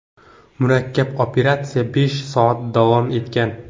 Murakkab operatsiya besh soat davom etgan.